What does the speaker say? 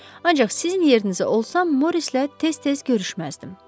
Ancaq sizin yerinizə olsam Morissonla tez-tez görüşməzdim.